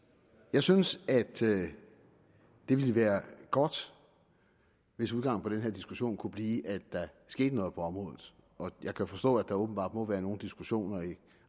jeg synes at det ville være godt hvis udgangen på denne diskussion kunne blive at der skete noget på området jeg kan forstå at der åbenbart må være nogle diskussioner i